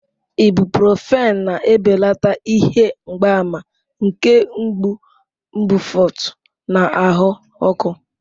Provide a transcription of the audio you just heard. Ibuprofen na-ebelata ihe mgbaàmà nke mgbu, mbufụt, na ahụ ọkụ.